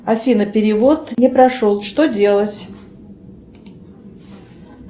афина перевод не прошел что делать